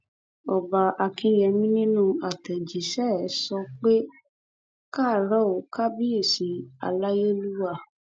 ọba akínyẹmí nínú àtẹjíṣẹ ẹ sọ pé e káàárọ kábíyèsí aláyélúwà